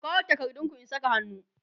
ku kawo takardun ku in Saka hannu!